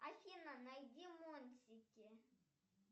афина найди мультики